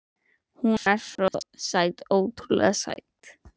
En hún er sæt, ótrúlega sæt.